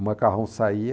O macarrão saía.